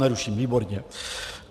Neruším, výborně.